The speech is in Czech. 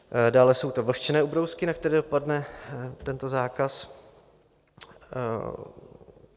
Dále jsou to vlhčené ubrousky, na které dopadne tento zákaz.